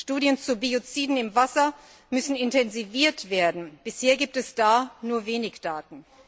Studien zu Bioziden im Wasser müssen intensiviert werden. Bisher gibt es da nur wenige Daten.